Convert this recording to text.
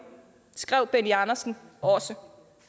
skrev benny andersen også